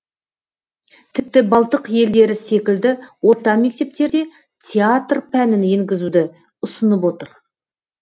тіпті балтық елдері секілді орта мектептерде театр пәнін енгізуді ұсынып отыр